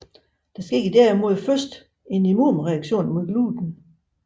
Der sker derimod først en immunreaktion mod gluten